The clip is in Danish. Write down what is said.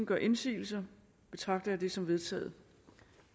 gør indsigelse betragter jeg det som vedtaget